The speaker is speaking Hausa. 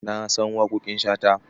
Na san waƙoƙin Shata.